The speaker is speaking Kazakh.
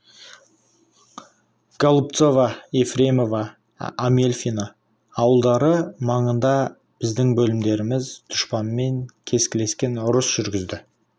голубцово ефремово амельфино ауылдары маңында біздің бөлімдеріміз дұшпанмен кескілескен ұрыс жүргізді